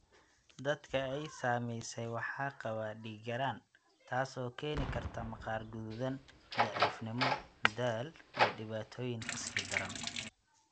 Dadka ay saameysay waxaa qaba dhiig-yaraan, taasoo keeni karta maqaar guduudan, daciifnimo, daal, iyo dhibaatooyin ka sii daran.